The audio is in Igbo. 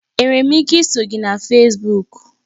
Enwere m ike iso gị na Fesbuk?